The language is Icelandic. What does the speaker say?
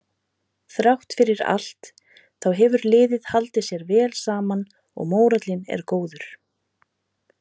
Þrátt fyrir allt þá hefur liðið haldið sér vel saman og mórallinn er góður.